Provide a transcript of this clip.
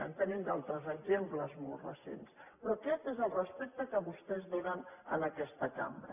en tenim altres exemples molt recents però aquest és el respecte que vostès donen a aquesta cambra